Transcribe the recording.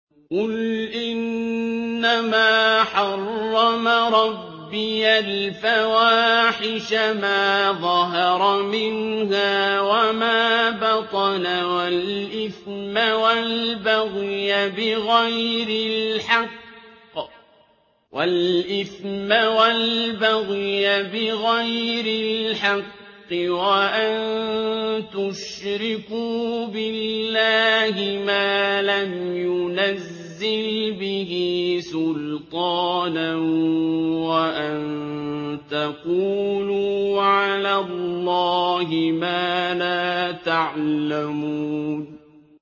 قُلْ إِنَّمَا حَرَّمَ رَبِّيَ الْفَوَاحِشَ مَا ظَهَرَ مِنْهَا وَمَا بَطَنَ وَالْإِثْمَ وَالْبَغْيَ بِغَيْرِ الْحَقِّ وَأَن تُشْرِكُوا بِاللَّهِ مَا لَمْ يُنَزِّلْ بِهِ سُلْطَانًا وَأَن تَقُولُوا عَلَى اللَّهِ مَا لَا تَعْلَمُونَ